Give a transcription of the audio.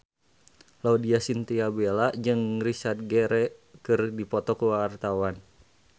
Laudya Chintya Bella jeung Richard Gere keur dipoto ku wartawan